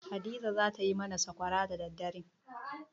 Hadiza za ta yi mana sakwara da daddare.